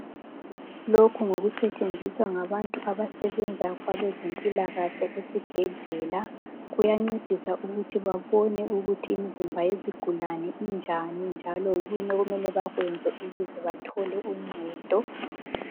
Lokhu ngokusetshenziswa ngabantu abasebenza kwezempilakahle esibhedlela, kuyancedisa ukuthi babone ukuthi imizimba yezigulani injani njalo yikuyini okumele bakwenze ukuze bathole uncedo